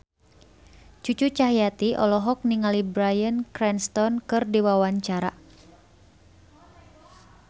Cucu Cahyati olohok ningali Bryan Cranston keur diwawancara